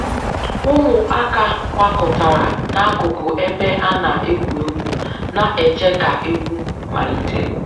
Ụmụaka gbakọtara n'akụkụ ebe a na-egwu egwu, na-eche ka egwu malite